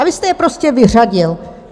A vy jste je prostě vyřadil.